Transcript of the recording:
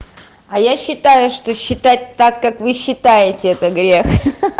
а я считаю что считать так как вы считаете это грех ха-ха